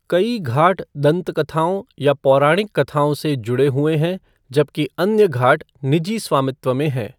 कई घाट दंतकथाों या पौराणिक कथाओं से जुड़े हुए हैं जबकि अन्य घाट निजी स्वामित्व में हैं।